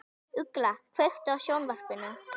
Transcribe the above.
Ugla, kveiktu á sjónvarpinu.